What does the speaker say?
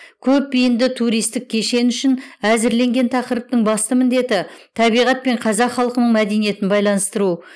көпбейінді туристік кешен үшін әзірленген тақырыптың басты міндеті табиғат пен қазақ халқының мәдениетін байланыстыру